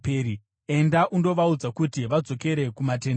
“Enda undovaudza kuti vadzokere kumatende avo.